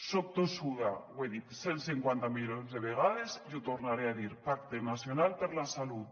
soc tossuda ho he dit cent cinquanta milions de vegades i ho tornaré a dir pacte nacional per la salut